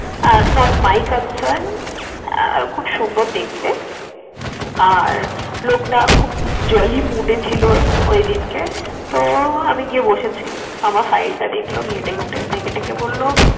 R not my concern আহ খুব সুন্দর দেখতে, আর লোকটা খুব jolly mood এ ছিল ঐদিনকে। তো আমি গিয়ে বসেছি, আমার file টা দেখলো ঘেঁটে ঘুঁটে। দেখে টেখে বলল